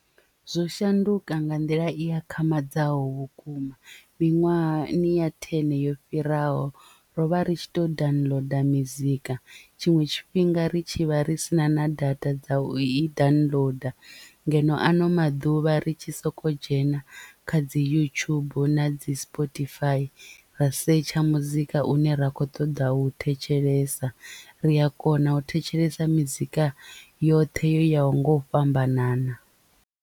Zwo shanduka nga nḓila i akhamadzaho vhukuma miṅwahani ya thene yo fhiraho ro vha ri tshi to downloader mizika tshiṅwe tshifhinga ri tshi vha ri sina na data dza u i downloader ngeno ano maḓuvha ri tshi soko dzhena kha dzi yutshubu na dzi spotify ra setsha muzika une ra kho ṱoḓa u thetshelesa ri a kona u thetshelesa mizika yoṱhe yo yaho nga u fhambanana.